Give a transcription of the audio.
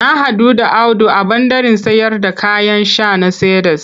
Na haɗu da Audu a ɓandaren sayarda kayan sha na Cedars.